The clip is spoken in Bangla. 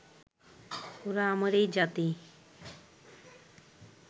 ওরা আমারই জাতি